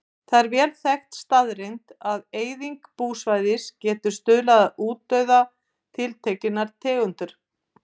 Það er vel þekkt staðreynd að eyðing búsvæða getur stuðlað að útdauða tiltekinnar tegundar.